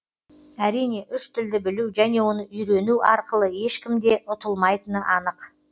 әрине үш тілді білу және оны үййрену арқылы ешкімде ұтылмайтыны анық